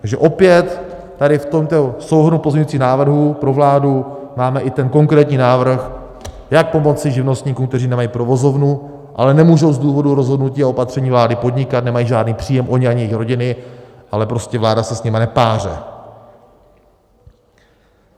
Takže opět tady v tomto souhrnu pozměňujících návrhů pro vládu máme i ten konkrétní návrh, jak pomoci živnostníkům, kteří nemají provozovnu, ale nemůžou z důvodu rozhodnutí a opatření vlády podnikat, nemají žádný příjem oni ani jejich rodiny, ale prostě vláda se s nimi nepáře.